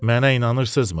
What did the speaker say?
Mənə inanırsızmı?